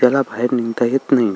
त्याला बाहेर निघता येत नाही.